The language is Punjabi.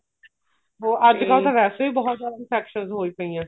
ਅੱਜਕਲ ਤਾਂ ਵੈਸੇ ਵੀ ਬਹੁਤ ਜਿਆਦਾ infections ਹੋਈ ਪਈ ਐ